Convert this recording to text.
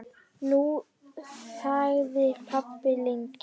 Nú þagði pabbi lengi.